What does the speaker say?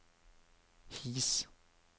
His